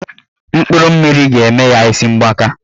Mkpụrụ mmiri ga-eme ha isi mgbaka